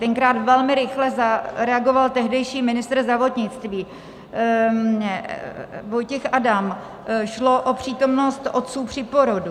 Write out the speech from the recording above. Tenkrát velmi rychle zareagoval tehdejší ministr zdravotnictví Vojtěch Adam, šlo o přítomnost otců při porodu.